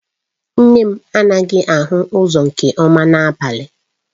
Nne m anaghị ahụ ụzọ nke ọma n'abalị